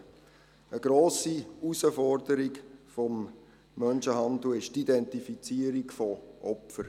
Eine grosse Herausforderung des Menschenhandels ist die Identifizierung der Opfer.